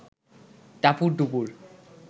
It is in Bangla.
টাপুর টুপুর